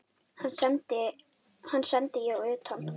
Hann sendi ég utan.